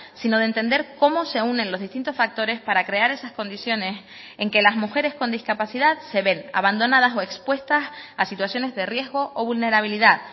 sino de entender cómo se unen los distintos factores para crear esas condiciones en que las mujeres con discapacidad se ven abandonadas o expuestas a situaciones de riesgo o vulnerabilidad